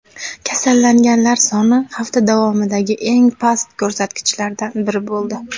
Kasallanganlar soni hafta davomidagi eng past ko‘rsatkichlardan biri bo‘ldi.